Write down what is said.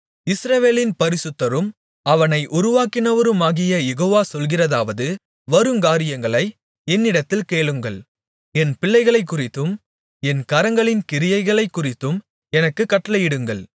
இஸ்ரவேலின் பரிசுத்தரும் அவனை உருவாக்கினவருமாகிய யெகோவா சொல்கிறதாவது வருங்காரியங்களை என்னிடத்தில் கேளுங்கள் என் பிள்ளைகளைக்குறித்தும் என் கரங்களின் கிரியைகளைக்குறித்தும் எனக்குக் கட்டளையிடுங்கள்